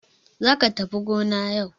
Za ka tafi gona yau!